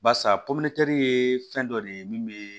Barisa ye fɛn dɔ de ye min bɛ